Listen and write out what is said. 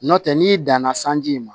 Nɔntɛ n'i danna sanji ma